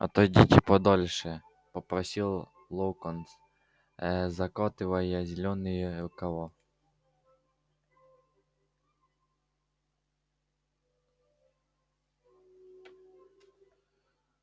отойдите подальше попросил локонс э закатывая зелёные рукава